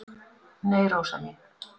"""Nei, Rósa mín."""